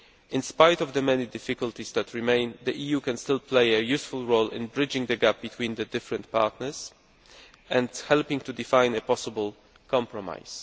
In spite of the many difficulties that remain, the EU can still play a useful role in bridging the gap between the different partners and helping to define a possible compromise.